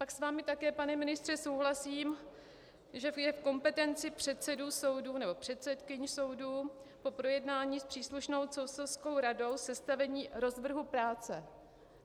Pak s vámi také, pane ministře, souhlasím, že je v kompetenci předsedů soudů nebo předsedkyň soudů po projednání s příslušnou soudcovskou radou sestavení rozvrhu práce.